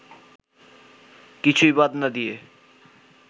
কিছুই বাদ না দিয়ে